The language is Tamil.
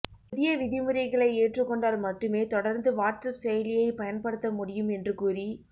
புதிய விதிமுறைகளை ஏற்றுக்கொண்டால் மட்டுமே தொடர்ந்து வாட்ஸ்ஆப் செயலியை பயன்படுத்த முடியும் என்று கூறி